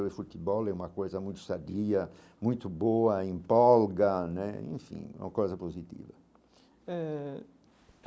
E o futebol é uma coisa muito sadia, muito boa, empolga né, enfim, uma coisa positiva eh.